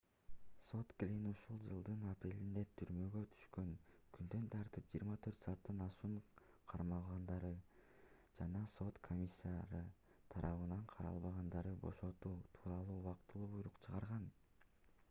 сот глинн ушул жылдын апрелинде түрмөгө түшкөн күндөн тартып 24 сааттан ашуун кармалгандарды жана сот комиссары тарабынан каралбагандарды бошотуу тууралуу убактылуу буйрук чыгарган